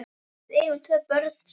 Við eigum tvö börn saman.